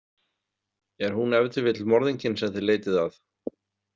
Er hún ef til vill morðinginn sem þið leitið að?